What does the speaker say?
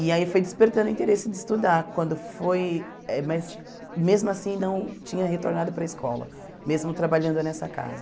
E aí foi despertando o interesse de estudar, quando foi mas mesmo assim não tinha retornado para a escola, mesmo trabalhando nessa casa.